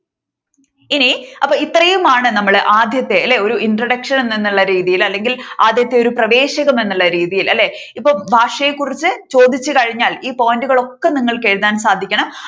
ഇനി അപ്പോ ഇത്രയും ആണ് നമ്മളു ആദ്യത്തെ അല്ലെ ഒരു introduction എന്ന രീതിയിലല്ലേ ആദ്യത്തെ അല്ലേ ഒരു എന്നുള്ള രീതിയിൽ അല്ലെങ്കിൽ ആദ്യത്തെ ഒരു പ്രവേശകം എന്നഉള്ള രീതിയിൽ അല്ലേ ഇപ്പോൾ ഭാഷയെ കുറിച്ച് ചോദിച്ചു കഴിഞ്ഞാൽ ഈ point കൾ ഒക്കെ നിങ്ങൾക്കെഴുതാൻ സാധിക്കണം